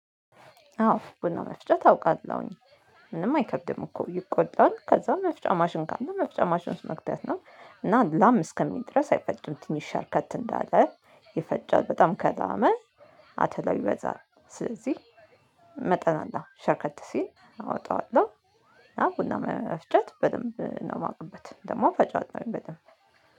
አዎ ቡና መፍጨት አውቃለሁኝ። ምንም አይከድም እኮ ይቆላል ከዛ መፍጫ ማሽን ካለ መፍጫ ማሽን ውስጥ መክተት ነው። እና ላም እስከሚል ድረስ አይፈጭም ትንሽ ሸርከት እንዳለ። ይፈጫል በጣም ከላመ አተላው ይበዛል ስለዚህ መጠን አለኝ ሸርከት ሲል አወጣዋለሁ። እና ቡና መፍጨት በደንብ ነው የማውቅበት ደግሞ እፈጫለሁኝ ነው በደንብ